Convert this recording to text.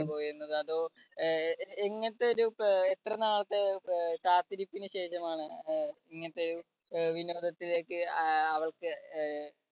പോയിരുന്നത് അതോ അഹ് എങ്ങനത്തെ ഒരു എത്ര നാളത്തെ കാത്തിരിപ്പിന് ശേഷമാണ് ഇങ്ങനത്തെ ഒരു വിനോദത്തിലേക്ക് അ അവള്‍ക്ക് അഹ്